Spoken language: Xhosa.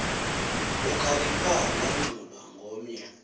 ukhalipha lanxulwa ngomnye